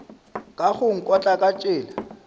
ka go nkotla ka tsela